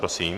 Prosím.